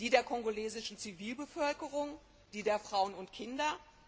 Die der kongolesischen Zivilbevölkerung, die der Frauen und Kinder?